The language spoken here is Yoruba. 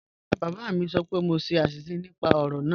Rárá, bábá mi sọ́ pẹ̀ mọ ṣè ạ̀ṣísẹ̀ nípà ọ̀rọ̀ náà.